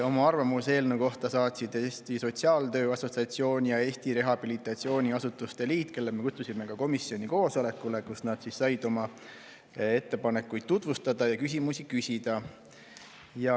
Oma arvamuse eelnõu kohta saatsid Eesti Sotsiaaltöö Assotsiatsioon ja Eesti Rehabilitatsiooniasutuste Liit, kelle me kutsusime ka komisjoni koosolekule, kus nad said oma ettepanekuid tutvustada ja küsimusi küsida.